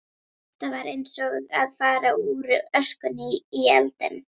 Þetta var eins og að fara úr öskunni í eldinn.